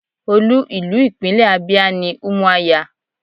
Olú ìlú ìpínlẹ̀ Abia ni Umuahia.